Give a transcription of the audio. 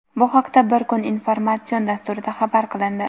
Bu haqda "Bu kun" informatsion dasturida xabar qilindi.